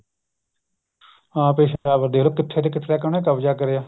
ਹਾਂ ਪਿਸ਼ਾਵਰ ਦੇਖਲੋ ਕਿੱਥੋ ਤੋਂ ਕਿੱਥੇ ਤੱਕ ਹਨਾ ਕਬਜਾ ਕਰਿਆ